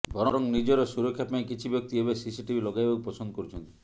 ବରଂ ନିଜର ସୁରକ୍ଷାପାଇଁ କିଛି ବ୍ୟକ୍ତି ଏବେ ସିସିଟିଭି ଲଗାଇବାକୁ ପସନ୍ଦ କରୁଛନ୍ତି